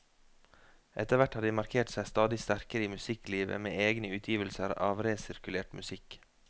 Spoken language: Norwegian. Etterhvert har de markert seg stadig sterkere i musikklivet med egne utgivelser av resirkulert musikk.